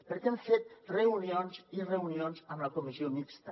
perquè hem fet reunions i reunions amb la comissió mixta